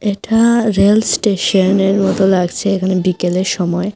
এটা রেলস্টেশনের মতো লাগছে এখানে বিকেলের সময়।